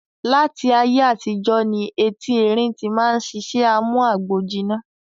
Láti ayé àtijọ́ ní eti erín tí máa ń sisẹ́ amú agbòjiná